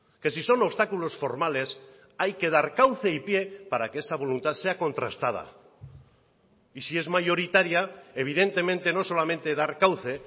que si son obstáculos formales hay que dar cauce y pie para que esa voluntad sea contrastada y si es mayoritaria evidentemente no solamente dar cauce